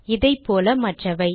இதே போல மற்றவை